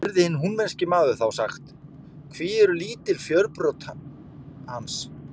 Heyrði hinn húnvetnski maður þá sagt: Hví eru svo lítil fjörbrot hans?